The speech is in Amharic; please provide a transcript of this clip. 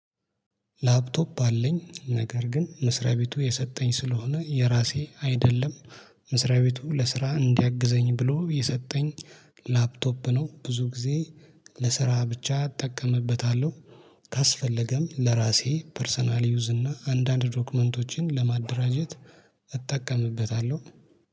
ላፕቶፕ አለኝ ነገር ግን መስሪያ ቤቱ የሰጠኝ ስለሆነ የራሴ አይደለም መስሪያ ቤቱ ለስራ እንዲያግዘኝ ብሎ የሰጠኝ ላፕቶፕ ነው ብዙ ጊዜ ለስራ ብቻ እጠቀምበታለሁ። ካስፈለገም ለራሴ ፐርሰናል ዩዝ እና አንዳንድ ዶክመንቶቼን ለማደራጀት እጠቀምበታለሁ